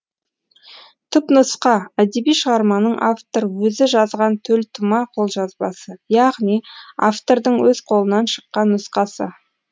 түпнұсқа әдеби шығарманың автор өзі жазған төлтума қолжазбасы яғни автордың өз қолынан шыққан нұсқасы